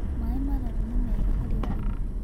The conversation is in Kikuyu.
Mae mararũ nĩ mega harĩ ũgima